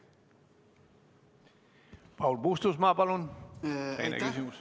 Paul Puustusmaa, palun, teine küsimus!